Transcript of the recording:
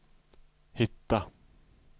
hitta